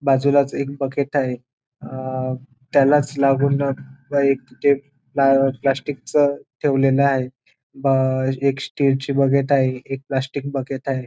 बाजूलाच एक बकेट आहे अ त्यालाच लागून एक ते प्ला प्लास्टिक च ठेवलेल आहे ब अ एक स्टील ची बकेट आहे एक प्लास्टिक बकेट आहे.